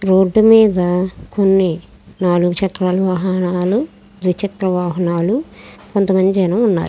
Road మేధా నాలుగు చెక్ర వాహనల్లు దరి చిత్ర వాహనల్లు కనిపిస్తునై.